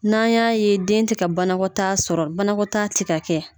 N'an y'a ye den tɛ ka banakɔtaa sɔrɔ banakɔtaa tɛ ka kɛ